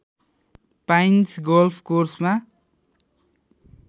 pines golf कोर्समा